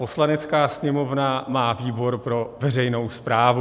Poslanecká sněmovna má výbor pro veřejnou správu.